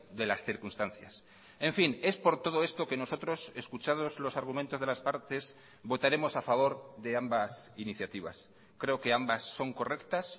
de las circunstancias en fin es por todo esto que nosotros escuchados los argumentos de las partes votaremos a favor de ambas iniciativas creo que ambas son correctas